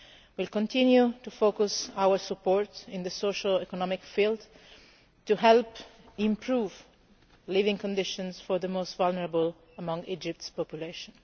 We will continue to focus our support in the socio economic field, to help improve living conditions for the most vulnerable among Egypt's population.